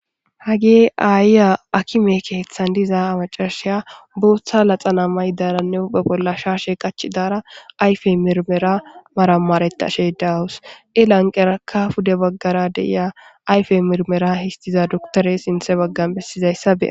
Hagee aayya akime keethan diza amacarsheya booththa laxana may daranne babollasha she qachi daara ayfe mirmera marammareta she daawus elanqeraka fude baggara deya ayfe mirmera histiza duktore sinthe baggan bessizayssabe.